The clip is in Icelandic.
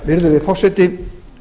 virðulegi forseti